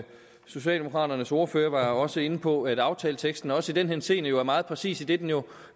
socialdemokraternes ordfører var også inde på at aftaleteksten også i den henseende er meget præcis idet den jo